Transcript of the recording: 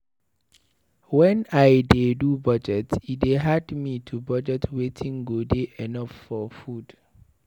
Wen I dey do budget, e dey hard me to budget wetin go dey enough for food.